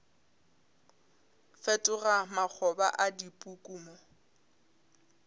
fetoga makgoba a dipuku mo